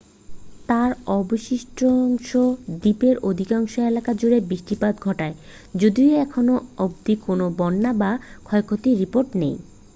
তার অবশিষ্টাংশ দ্বীপের অধিকাংশ এলাকা জুড়ে বৃষ্টিপাত ঘটায় যদিও এখনো অবধি কোনো বন্যা বা ক্ষয়ক্ষতির রিপোর্ট নেই